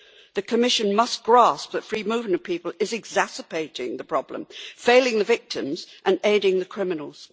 The Commission must grasp that free movement of people is exacerbating the problem, failing the victims and aiding the criminals.